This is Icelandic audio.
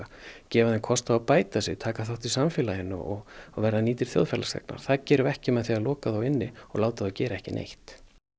gefa þeim kost á að bæta sig taka þátt í samfélaginu og verða nýtir þjóðfélagsþegnar það gerum við ekki með því að loka þá inni og láta þá gera ekki neitt